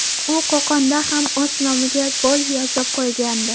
U Qo‘qonda ham o‘z nomiga gol yozib qo‘ygandi.